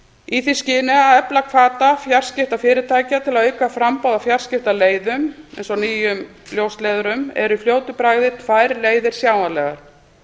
í því skyni að efla hvata fjarskiptafyrirtækja til að auka framboð á fjarskiptaleiðum eins og nýjum ljósleiðurum eru í fljótu bragði tvær leiðir sjáanlegar